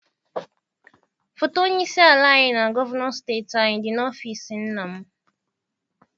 Foto onye isi ala anyị na gọvanọ steeti anyị dị n'ọfịịsi nna m.